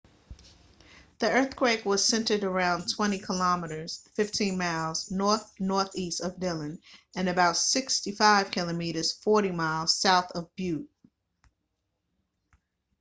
the earthquake was centered about 20 km 15 miles north-northeast of dillon and about 65 km 40 miles south of butte